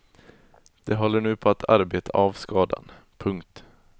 De håller nu på att arbeta av skadan. punkt